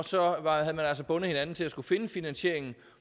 så havde man altså bundet hinanden til at finde finansieringen